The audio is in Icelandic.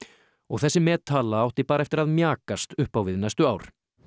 og þessi mettala átti bara eftir að mjakast upp á við næstu ár